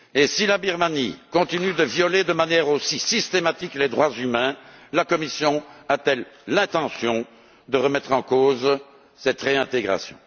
Si la Birmanie continue de violer de manière aussi systématique les droits humains, la Commission a t elle l'intention de remettre en cause cette réintégration?